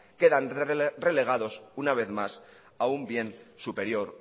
quedan relegados una vez más a un bien superior